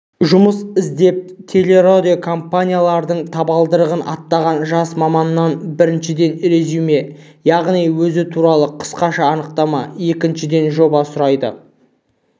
жұмыс іздеп телерадиокомпаниялардың табалдырығын аттаған жас маманнан біріншіден резюме яғни өзі туралы қысқаша анықтама екіншіден жоба сұрайды